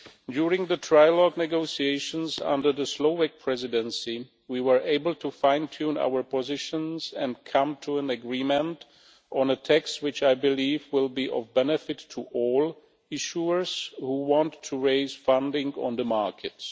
During the trilogue negotiations under the Slovak Presidency, we were able to fine tune our positions and come to an agreement on a text which, I believe, will be of benefit to all issuers who want to raise funding on the markets.